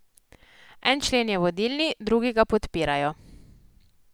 En člen je vodilni, drugi ga podpirajo.